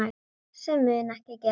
Sem mun ekki gerast.